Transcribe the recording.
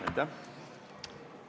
Aitäh!